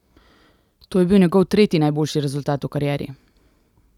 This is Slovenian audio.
To je bil njegov tretji najboljši rezultat v karieri.